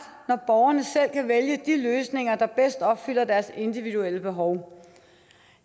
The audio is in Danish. når borgerne selv kan vælge de løsninger der bedst opfylder deres individuelle behov